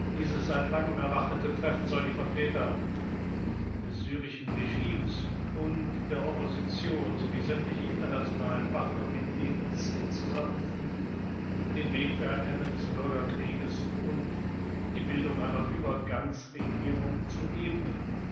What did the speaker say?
Dieses seit langem erwartete Treffen soll die Vertreter des syrischen Regimes und der Opposition sowie sämtliche internationalen Partner mit dem Ziel zusammenführen, den Weg für ein Ende des Bürgerkriegs und die Bildung einer Übergangsregierung zu ebnen.